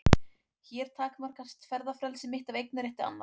Hér takmarkast ferðafrelsi mitt af eignarétti annars.